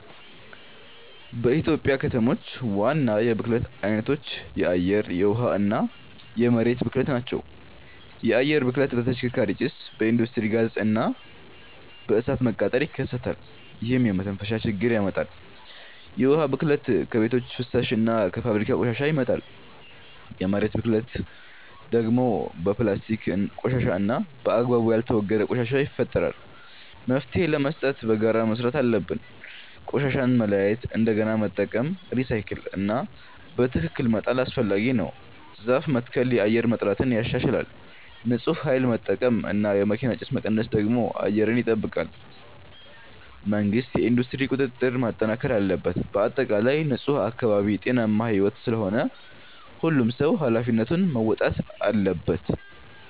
በኢትዮጵያ ከተሞች ዋና የብክለት አይነቶች የአየር፣ የውሃ እና የመሬት ብክለት ናቸው። የአየር ብክለት በተሽከርካሪ ጭስ፣ በኢንዱስትሪ ጋዝ እና በእሳት መቃጠል ይከሰታል፣ ይህም የመተንፈሻ ችግር ያመጣል። የውሃ ብክለት ከቤቶች ፍሳሽ እና ከፋብሪካ ቆሻሻ ይመጣል። የመሬት ብክለት ደግሞ በፕላስቲክ ቆሻሻ እና በአግባቡ ያልተወገደ ቆሻሻ ይፈጠራል። መፍትሄ ለመስጠት በጋራ መስራት አለብን። ቆሻሻን መለያየት፣ እንደገና መጠቀም (recycle) እና በትክክል መጣል አስፈላጊ ነው። ዛፍ መትከል የአየር ጥራትን ያሻሽላል። ንፁህ ኃይል መጠቀም እና የመኪና ጭስ መቀነስ ደግሞ አየርን ይጠብቃል። መንግሥት የኢንዱስትሪ ቁጥጥር ማጠናከር አለበት። በአጠቃላይ ንፁህ አካባቢ ጤናማ ሕይወት ስለሆነ ሁሉም ሰው ኃላፊነቱን መወጣት አለበት።